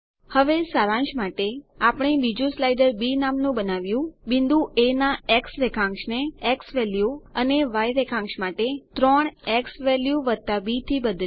હવે સારાંશ માટે આપણે બીજું સ્લાઈડર બી નામનું બનાવ્યું બિંદુ એ ના રેખાંશને ઝવેલ્યુ અને ય રેખાંશ માટે 3 ઝવેલ્યુ બી થી બદલ્યું